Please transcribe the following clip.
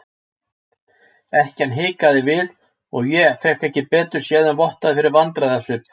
Ekkjan hikaði við og ég fékk ekki betur séð en vottaði fyrir vandræðasvip.